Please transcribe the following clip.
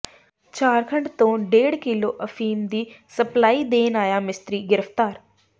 ਝਾਰਖੰਡ ਤੋਂ ਡੇਢ ਕਿਲੋ ਅਫੀਮ ਦੀ ਸਪਲਾਈ ਦੇਣ ਆਇਆ ਮਿਸਤਰੀ ਗ੍ਰਿਫਤਾਰ